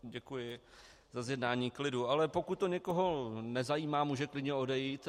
Děkuji za zjednání klidu, ale pokud to někoho nezajímá, může klidně odejít.